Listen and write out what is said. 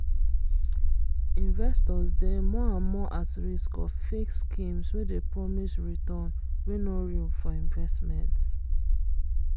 investors dey more and more at risk of fake schemes wey dey promise return wey no real for investments.